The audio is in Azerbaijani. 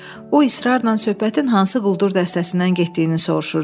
O israrla söhbətin hansı quldur dəstəsindən getdiyini soruşurdu.